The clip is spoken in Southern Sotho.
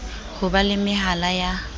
ho ba le mehala ya